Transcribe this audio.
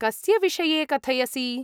कस्य विषये कथयसि?